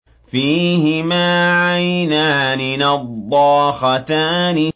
فِيهِمَا عَيْنَانِ نَضَّاخَتَانِ